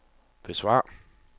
besvar